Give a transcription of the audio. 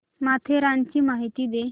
माथेरानची माहिती दे